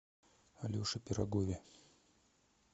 алеше пирогове